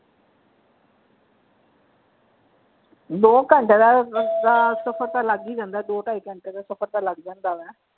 ਦੋ ਘੰਟੇ ਦਾ ਰਸਤਾ ਸਫ਼ਰ ਤਾਂ ਲੱਗ ਹੀ ਜਾਂਦਾ ਹੈ ਦੋ ਢਾਈ ਘੰਟੇ ਦਾ ਸਫ਼ਰ ਤਾਂ ਲੱਗ ਜਾਂਦਾ ਵਾ।